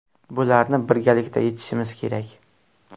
Bularni birgalikda yechishimiz kerak.